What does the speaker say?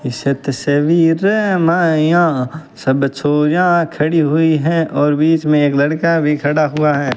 सब छोरियां खड़ी हुई हैं और बीच में एक लड़का भी खड़ा हुआ है।